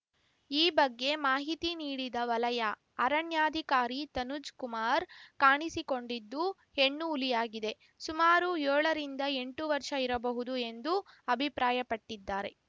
ಈ ಬಗ್ಗೆ ಮಾಹಿತಿ ನೀಡಿದ ವಲಯ ಅರಣ್ಯಾಧಿಕಾರಿ ತನುಜ್‌ಕುಮಾರ್‌ ಕಾಣಿಸಿಕೊಂಡಿದ್ದು ಹೆಣ್ಣುಹುಲಿಯಾಗಿದೆ ಸುಮಾರು ಯೋಳರಿಂದ ಎಂಟು ವರ್ಷ ಇರಬಹುದು ಎಂದು ಅಭಿಪ್ರಾಯಪಟ್ಟಿದ್ದಾರೆ